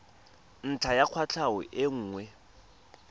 ntlha ya kwatlhao e nngwe